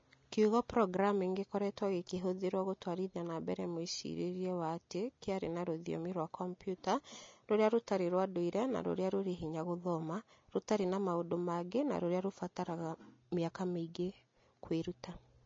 Kiugo "programming" gĩkoretwo gĩkĩhũthĩrũo gũtwarithia na mbere mwĩcirĩrie wa atĩ 'kĩarĩ na rũthiomi rwa kompiuta' rũrĩa rũtarĩ rwa ndũire na rũrĩa rũrĩ hinya gũthoma, rũtariĩ na maũndũ mangĩ na rũrĩa rũbataraga mĩaka mĩingĩ kwĩruta